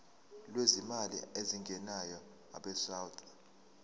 lwezimali ezingenayo abesouth